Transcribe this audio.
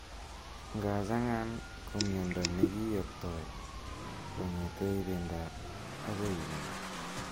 Ngachang'aan ko miondo negiyoptoi kongete ibinda agoi ibinda.